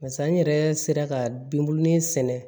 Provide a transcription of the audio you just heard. Barisa n yɛrɛ sera ka bin bulon in sɛnɛ